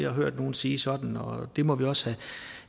har hørt nogen sige sådan og det må man også